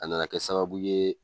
A nana kɛ sababu ye